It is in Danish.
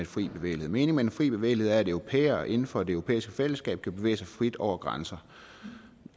fri bevægelighed meningen med den fri bevægelighed er at europæere inden for det europæiske fællesskab kan bevæge sig frit over grænser